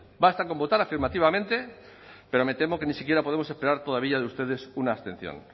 basta con votar afirmativamente pero me temo que ni siquiera podemos esperar todavía de ustedes una abstención